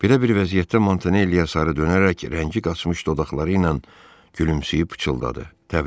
Belə bir vəziyyətdə Montanelliya sarı dönərək rəngi qaçmış dodaqları ilə gülümsəyib pıçıldadı.